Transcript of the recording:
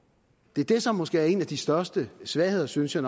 det er det som måske er en af de største svagheder synes jeg